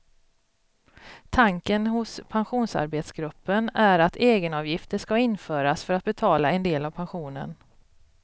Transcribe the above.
Tanken hos pensionsarbetsgruppen är att egenavgifter ska införas för att betala en del av pensionen.